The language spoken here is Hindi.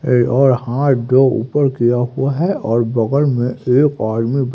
एक और हाथ जो ऊपर किया हुआ है और बगल में एक आदमी--